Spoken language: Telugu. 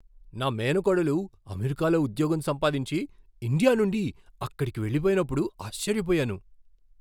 నా మేనకోడలు అమెరికాలో ఉద్యోగం సంపాదించి, ఇండియా నుండి అక్కడికి వెళ్ళిపోయినప్పుడు ఆశ్చర్యపోయాను.